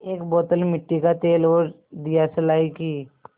एक बोतल मिट्टी का तेल और दियासलाई की